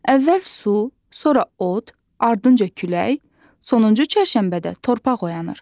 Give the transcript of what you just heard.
Əvvəl su, sonra od, ardınca külək, sonuncu çərşənbədə torpaq oyanır.